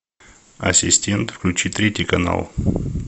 ассистент включи третий канал